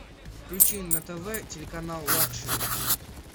включи на тв телеканал лакшери